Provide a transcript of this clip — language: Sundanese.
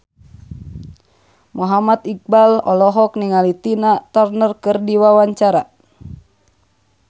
Muhammad Iqbal olohok ningali Tina Turner keur diwawancara